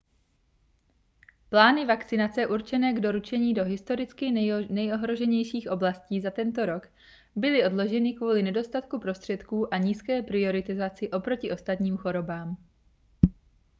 plány vakcinace určené k doručení do historicky nejohroženějších oblastí za tento rok byly odloženy kvůli nedostatku prostředků a nízké prioritizaci oproti ostatním chorobám